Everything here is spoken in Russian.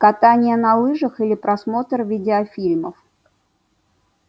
катание на лыжах или просмотр видеофильмов